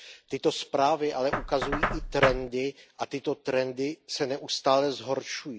Tyto zprávy ale ukazují i trendy a tyto trendy se neustále zhoršují.